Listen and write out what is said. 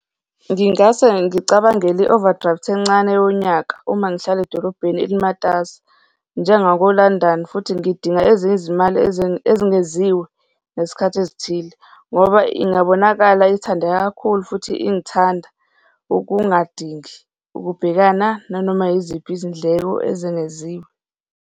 Ngingase ngicabangele i-overdraft-i encane yonyaka uma ngihlala edolobheni elimatasa njengako-London, futhi ngidinga ezinye izimali ezengeziwe ngesikhathi ezithile, ngoba ingabonakala ithandeka kakhulu futhi ingithanda ukungadingi ukubhekana nanoma yiziphi izindleko ezengeziwe.